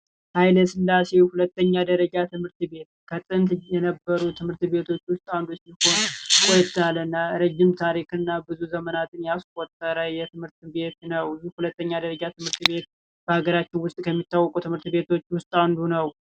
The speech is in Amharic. ኃይለስላሴ ሁለተኛ ደረጃ ትምህርት ቤት ቀደምት ከነበሩ ትምህርት ቤቶች ውስጥ አንዱ ሲሆን ቆየት ያለና ረጅም ዘመናትን ያስቆጠረ ትምህርት ቤት ነው ፤ ይህ ሁለተኛ ደረጃ ትምህርት ቤት በሀገራችን ውስጥ ከሚታወቁ ትምህርት ቤቶች ውስጥ አንዱ ነው።